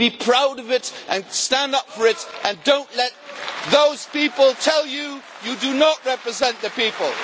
Be proud of it, stand up for it and do not let those people tell you do not represent the people.